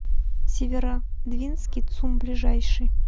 северодвинский цум ближайший